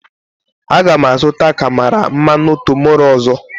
Aga m azụta karama mmanụ tomorroe ọzọ